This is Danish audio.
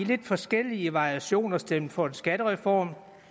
lidt forskellige variationer stemt for en skattereform